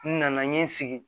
N nana n ye n sigi